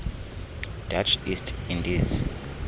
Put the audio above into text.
dutch east indies